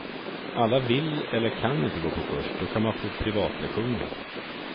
Alla vill eller kan inte gå på kurs, då kan man få privatlektioner.